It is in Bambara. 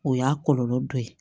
O y'a kɔlɔlɔ dɔ ye